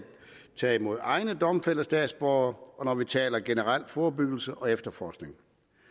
tage imod egne domfældte statsborgere og når vi taler generel forebyggelse og efterforskning